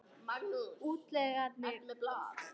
Útlagarnir Eyvindur Jónsson, Fjalla-Eyvindur, og Halla